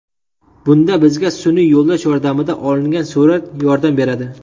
Bunda bizga sun’iy yo‘ldosh yordamida olingan surat yordam beradi.